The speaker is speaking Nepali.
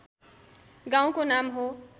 गाउँको नाम हो